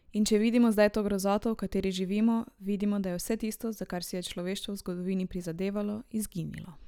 In če vidimo zdaj to grozoto, v kateri živimo, vidimo, da je vse tisto, za kar si je človeštvo v zgodovini prizadevalo, izginilo.